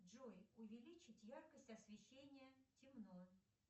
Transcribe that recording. джой увеличить яркость освещения темно